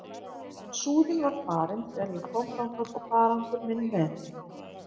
En Súðin var farin þegar ég kom þangað og farangur minn með henni.